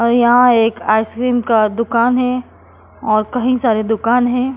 और यहां एक आइसक्रीम का दुकान है और कहीं सारे दुकान हैं।